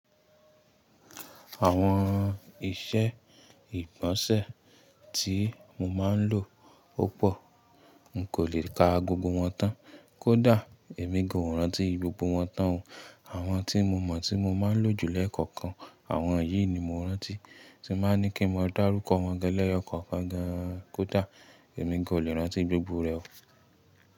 Àwọn ìṣe ìgbọ̀nsẹ̀ ti mo máa ń lò púpọ̀. N kò lè ka gbogbo wọn tán. Kódà èmi gan ò rántí gbogbo wọn tán o. Àwọn tí mo mọ̀ tí mo máa ń lò jù lẹkọ̀ọ̀kan. Àwọn yìí ni mo rántí tí máa ni kí n mọ darúkọ wọn gan lẹ́yọkọ̀ọkàn. Kódà èmi gan ò lè rántí gbogbo rẹ̀ o.